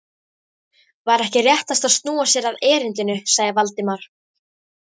Væri ekki réttast að snúa sér að erindinu? sagði Valdimar.